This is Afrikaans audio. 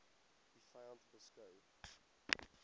u vyand beskou